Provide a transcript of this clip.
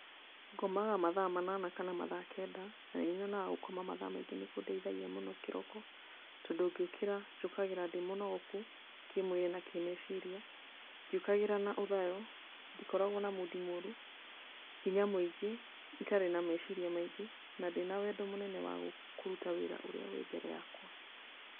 Ngomaga mathaa manana kana mathaa kenda, na nĩ nyonaga gũkoma mathaa maingĩ nĩ kũndeithagia mũno kĩroko, tondũ ngĩũkĩra, njũkagĩra ndĩ mũnogoku, kĩmwĩrĩ na kĩmeciria, ndiũkagĩra na ũthayo, ndikoragwo na mudi morũ, hinya mũingĩ, itarĩ na meciria maingĩ, na ndĩ na wendo mũnene wa kũruta wĩra ũrĩa wĩ mbere yakwa.